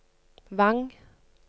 Vang